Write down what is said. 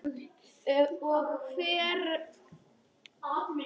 Og hvar.